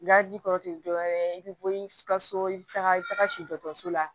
tɛ dɔwɛrɛ ye i bɛ bɔ i ka so i bɛ taga i bɛ taga si dɔso la